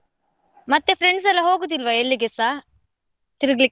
ಮತ್ತೆ friends ಎಲ್ಲ ಹೋಗುದಿಲ್ವಾ ಎಲ್ಲಿಗೆಸಾ ತಿರ್ಗ್ಲಿಕ್ಕೆ.